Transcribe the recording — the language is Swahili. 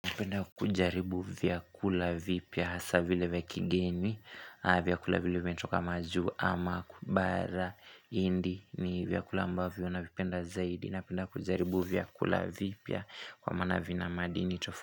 Napenda kujaribu vyakula vipya hasa vile ya kigeni, vyakula vilewe nchoka maju ama kubara indi ni vyakula ambavyo na vipenda zaidi. Napenda kujaribu vyakula vipya kwa manavina madini.